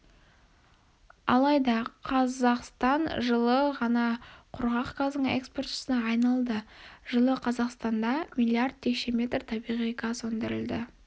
алайда қазқастан жылы ғана құрғақ газдың экспортшысына айналды жылы қазақстанда миллиард текше метр табиғи газ өндірілді